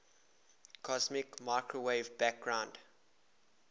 cosmic microwave background